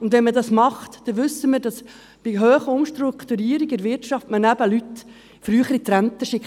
Und wenn man das macht, dann wissen wir, dass man bei starken Umstrukturierungen in der Wirtschaft eben Leute früher in die Rente schickt.